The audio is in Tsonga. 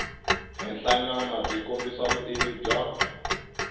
henhlanyana byi kombisa vutivi bya